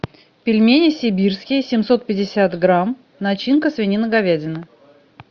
пельмени сибирские семьсот пятьдесят грамм начинка свинина говядина